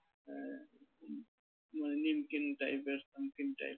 মানে নিমকিন type এর type